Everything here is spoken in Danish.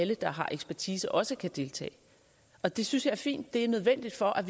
alle der har ekspertise også kan deltage og det synes jeg er fint det er nødvendigt for at